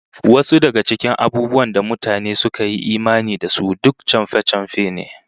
Wasu daga cikin abubuwan da mutane suka yi imani da su, duk chamfe-chamfe ne